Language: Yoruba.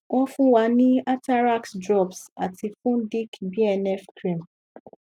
won fun wa ní atarax drops ati fudic bnf cream